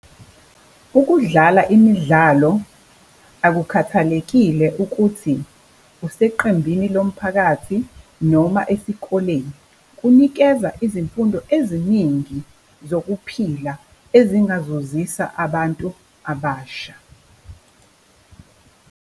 Ukudlala imidlalo akukhathalekile ukuthi useqembini lomphakathi noma esikoleni. Kunikeza izimfundo eziningi zokuphila ezingazuzisa abantu abasha.